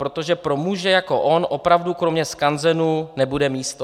Protože pro muže jako on opravdu kromě skanzenu nebude místo."